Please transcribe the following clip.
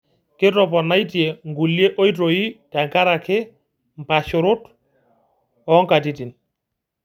Kitoponaitie nkulie oitoi tenkaraki mpasharot oontokitin.